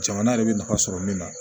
Jamana yɛrɛ bɛ nafa sɔrɔ min na